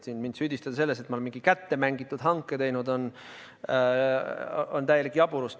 Süüdistada mind selles, et ma olen mingi kätte mängitud hanke teinud, on täielik jaburdus.